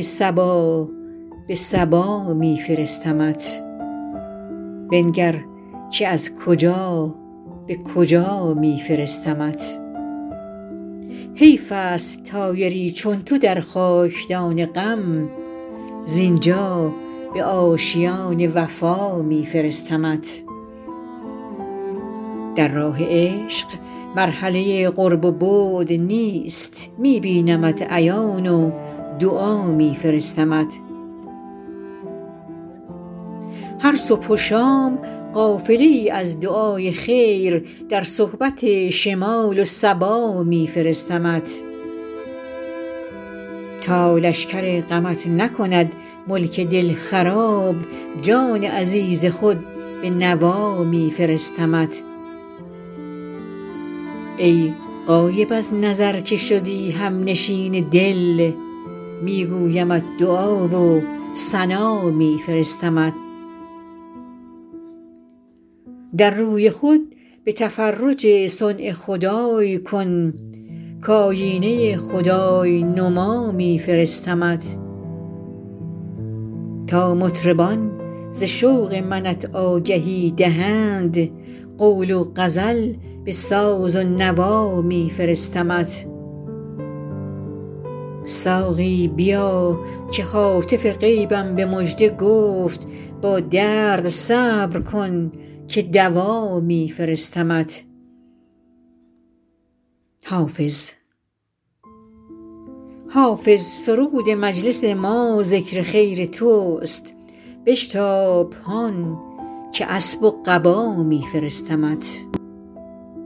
صبا به سبا می فرستمت بنگر که از کجا به کجا می فرستمت حیف است طایری چو تو در خاک دان غم زین جا به آشیان وفا می فرستمت در راه عشق مرحله قرب و بعد نیست می بینمت عیان و دعا می فرستمت هر صبح و شام قافله ای از دعای خیر در صحبت شمال و صبا می فرستمت تا لشکر غمت نکند ملک دل خراب جان عزیز خود به نوا می فرستمت ای غایب از نظر که شدی هم نشین دل می گویمت دعا و ثنا می فرستمت در روی خود تفرج صنع خدای کن کآیینه خدای نما می فرستمت تا مطربان ز شوق منت آگهی دهند قول و غزل به ساز و نوا می فرستمت ساقی بیا که هاتف غیبم به مژده گفت با درد صبر کن که دوا می فرستمت حافظ سرود مجلس ما ذکر خیر توست بشتاب هان که اسب و قبا می فرستمت